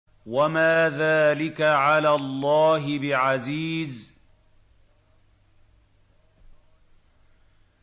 وَمَا ذَٰلِكَ عَلَى اللَّهِ بِعَزِيزٍ